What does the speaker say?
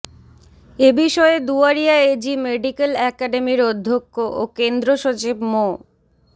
এ বিষয়ে Duaria AG model একাডেমীর অধ্যক্ষ ও কেন্দ্রসচিব মো